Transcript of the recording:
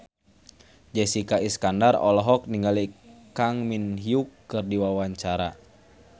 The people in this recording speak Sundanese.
Jessica Iskandar olohok ningali Kang Min Hyuk keur diwawancara